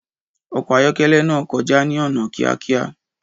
Ọkọ̀ ayọ́kẹ́lẹ́ náà kọjá ní ọ̀nà kíákíá.